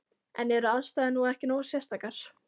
En eru aðstæður nú ekki nógu sérstakar?